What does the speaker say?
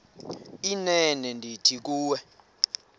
inene ndithi kuwe